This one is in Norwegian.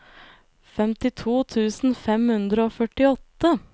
femtito tusen fem hundre og førtiåtte